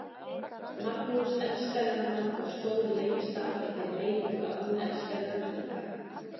Magnús elskaði hana og stóð lengst af í þeirri meiningu að hún elskaði hann líka.